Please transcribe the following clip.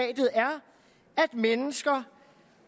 mennesker